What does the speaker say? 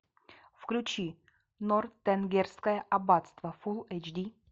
включи нортенгерское аббатство фул эйч ди